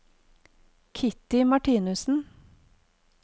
Kitty Martinussen